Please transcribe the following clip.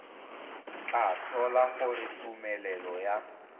tla tlhola gore tumelelo ya